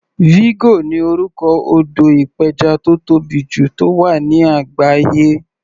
Vigo ni orúkọ odò ìpẹjà tó tóbì jù tó wà ní àgbáyé.